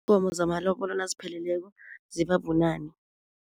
zamalobolo nazipheleleko zibabunane.